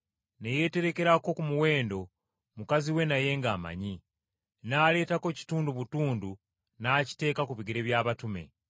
ne yeeterekerako ku muwendo, mukazi we naye ng’amanyi, n’aleetako kitundu butundu n’akiteeka ku bigere by’abatume.